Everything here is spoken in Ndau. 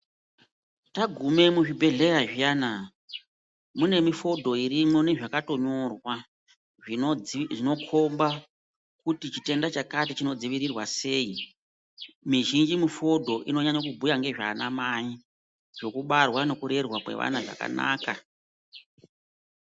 Tagume muzvibhedhlera zviyana, mune mifodho irimwo nezvakatonyorwa. zvinokhomba kuti chitenda chakati chinodzivirirwa sei? Mizhinji mifodho inonyanya kubhuya ngezvaana mai, zvekubarwa nekurerwa kwevana zvakanaka.